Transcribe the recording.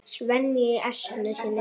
Svenni í essinu sínu.